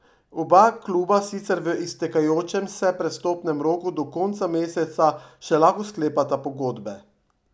Oba kluba sicer v iztekajočem se prestopnem roku do konca meseca še lahko sklepata pogodbe.